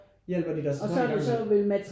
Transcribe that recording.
Hjælper de sig så i gang med